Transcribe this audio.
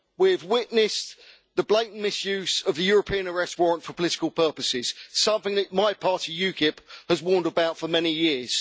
We have witnessed the blatant misuse of the European Arrest Warrant for political purposes, something that my party, UKIP, has warned about for many years.